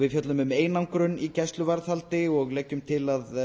við fjöllum um einangrun í gæsluvarðhaldi og leggjum til að